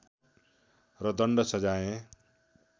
र दण्ड सजाय